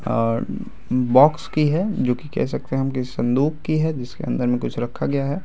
और बॉक्स की हैजोकि कह सकते हैं हम किसी संदूक की है जिसके अंदर मे कुछ रखा गया है ।